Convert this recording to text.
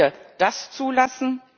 Dürfen wir das zulassen?